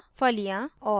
फलियां और